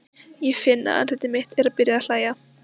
Ég finn að andlit mitt er byrjað að hlæja.